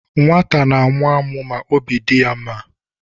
Nwata na-amụ amụ ma obi dị ya mma.